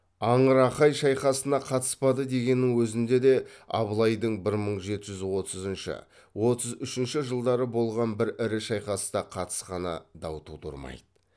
аңырақай шайқасына қатыспады дегеннің өзінде де абылайдың бір мың жеті жүз отызыншы отыз үшінші жылдары болған бір ірі шайқаста қатысқаны дау тудырмайды